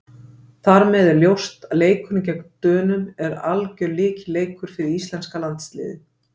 Þar með er ljóst að leikurinn gegn Dönum er algjör lykilleikur fyrir íslenska landsliðið.